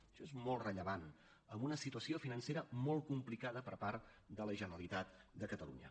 això és molt rellevant amb una situació financera molt complicada per part de la generalitat de catalunya